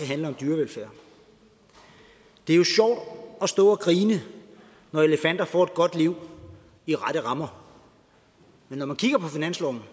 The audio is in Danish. handle om dyrevelfærd det er jo sjovt at stå og grine når elefanter får et godt liv i rette rammer men når man kigger på finansloven